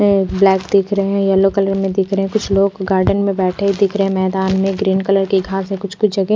black दिख रहे है येलो कलर मे दिख रहे है कुछ लोग गार्डन मे बैठे दिख रहे है मैदान मे ग्रीन कलर की घासे है कुछ कुछ जगह--